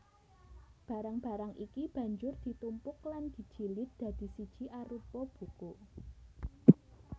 Barang barang iki banjur ditumpuk lan dijilid dadi siji arupa buku